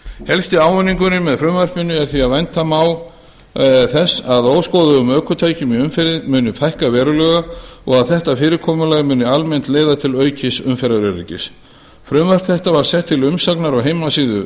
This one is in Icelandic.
helsti ávinningur með frumvarpinu er því að vænta má þess að óskoðuðum ökutækjum í umferð muni fækka verulega og að þetta fyrirkomulag muni almennt leiða til aukins umferðaröryggis frumvarp þetta var sett til umsagnar á heimasíðu